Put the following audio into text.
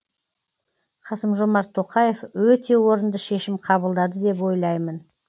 қасым жомарт тоқаев өте орынды шешім қабылдады деп ойлаймын